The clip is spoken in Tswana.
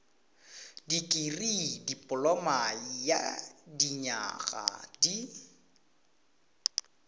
dikirii dipoloma ya dinyaga di